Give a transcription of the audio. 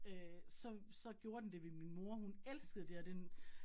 Øh så så gjorde den det ved min mor, hun elskede det og den